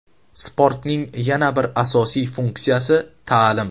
Sportning yana bir asosiy funksiyasi – ta’lim.